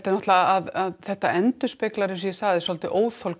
að þetta endurspegli eins og ég sagði óþol